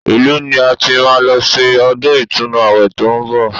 Ìlú ni a ti máa lọ ṣe ọdún ìtúnu àwẹ̀ tó ń bọ̀